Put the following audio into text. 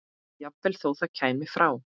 Jafnvel þó það kæmi frá